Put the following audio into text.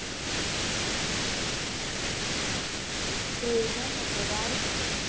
જયમાને તેવા આવશે.